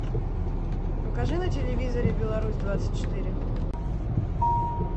покажи на телевизоре беларусь двадцать четыре